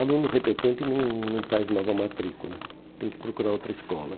Aluno repetente não não faz nova matrícula, tem que procurar outra escola.